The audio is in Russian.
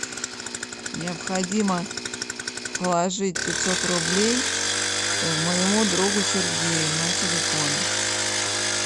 необходимо положить пятьсот рублей моему другу сергею на телефон